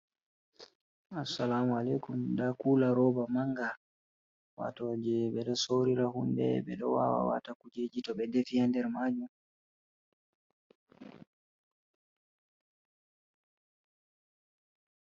Assalamu alaikum. Nda kuula roba manga, wato jei ɓe ɗo sorira hunde, ɓe ɗo waawa waata kujeji to ɓe defi ha nder maajum.